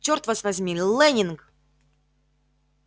чёрт вас возьми лэннинг